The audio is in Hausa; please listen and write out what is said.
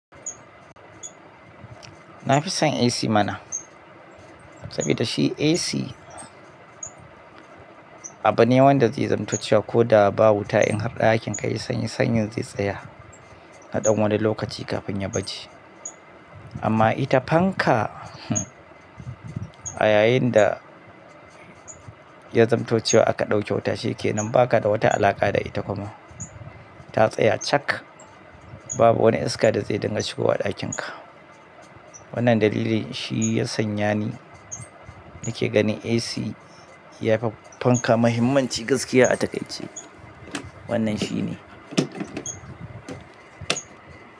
Na fi son AC mana saboda shi AC abune wanda zai zamtaccewa ko da ba wuta in har ɗakin ka yayi sanyi, sanyin zai tsaya naɗan wani lokaci kafin ya bace. Amma ita fanka a yayinda ya zamtaccewa aka ɗauke wuta, shi kenan ba ka da wata alaƙa da ita kuma. Ta tsaya cak, babu wani iska da zai dinga shigowa ɗakin ka. Wannan dalilin shi ya sanya ni nake ganin AC ya fi fanka muhimmanci gaskiya a takaice. Wannan shi ne.